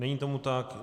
Není tomu tak.